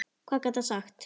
Hvað gat hann sagt?